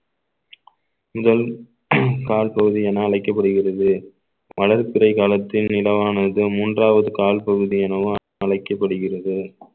முதல் கால் பகுதி என அழைக்கப்படுகிறது வளர்பிறை காலத்தில் நிலவானது மூன்றாவது கால் பகுதி எனவும் அழைக்கப்படுகிறது